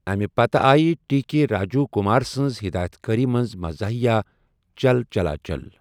اَمہِ پتہٕ آیہ ٹی کے راجیٖو کُمار سٕنٛزِ ہِدایت کٲری منٛز مَزاحِیہ، 'چَل چَلا چَل'۔